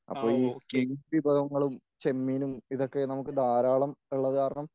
അപ്പോ ഈ മീൻ വിഭവങ്ങളും ചെമ്മീനും ഇതൊക്കെ നമുക്ക് ധാരാളം ഉള്ളത് കാരണം